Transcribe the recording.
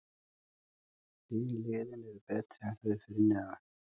Hin liðin eru betri en þau fyrir neðan.